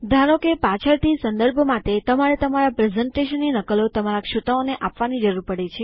ઉદાહરણ તરીકેપાછળથી સંદર્ભ માટે તમને તમારા પ્રેઝન્ટેશનની નકલો તમારા શ્રોતાઓને આપવાની જરૂર પડે